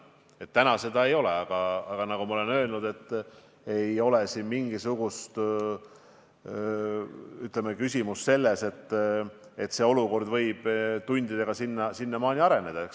Täna seda ei ole, aga nagu ma olen öelnud, ei ole siin mingisugust küsimust selles, et olukord võib juba tundidega sinnamaani areneda.